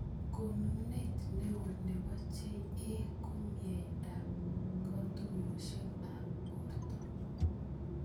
Konunet neo nebo JA ko mnyendo ab katuyoshek ab borto.